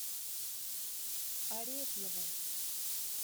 арефьеву